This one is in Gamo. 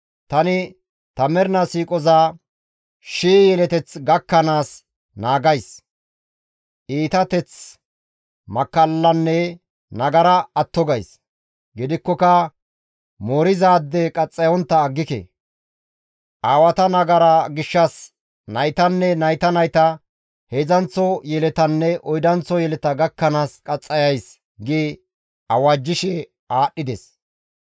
Tani ta mernaa siiqoza shii yelet gakkanaas naagays; iitateth, makkallanne nagara atto gays. Gidikkoka moorizaade qaxxayontta aggike; aawata nagara gishshas naytanne nayta nayta, heedzdzanththo yeletanne oydanththo yeleta gakkanaas qaxxayays» gi awajjishe aadhdhides.